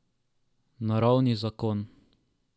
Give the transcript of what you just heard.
Naravni zakon.